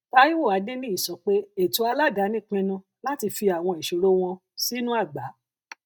taiwo adeniyi sọ pé ètò aládàáni pinnu láti fi àwọn ìṣòro wọn sínú àgbá